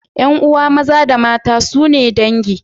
Yan'uwa maza da mata sune dangi.